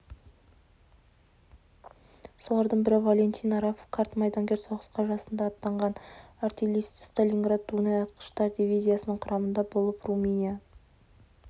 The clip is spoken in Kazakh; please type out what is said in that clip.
солардың бірі валентин арапов қарт майдангер соғысқа жасында аттанған артиллерист сталинград-дунай атқыштар дивизиясының құрамында болып румыния